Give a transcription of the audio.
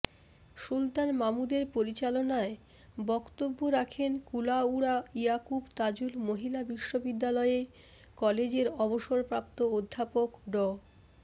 সুলতান মাহমুদের পরিচালনায় বক্তব্য রাখেন কুলাউড়া ইয়াকুব তাজুল মহিলা বিশ্ববিদ্যালয় কলেজের অবসরপ্রাপ্ত অধ্যাপক ড